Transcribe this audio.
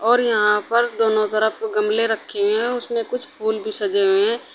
और यहां पर दोनों तरफ गमले रखी हुई हैं उसमें कुछ फूल भी सजे हुए हैं।